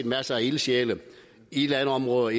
masser af ildsjæle i landområder